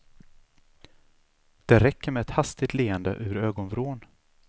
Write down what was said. Det räcker med ett hastigt leende ur ögonvrån.